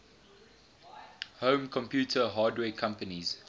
home computer hardware companies